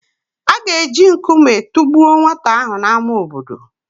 A ga-eji nkume tụgbuo nwata ahụ n’ámá obodo.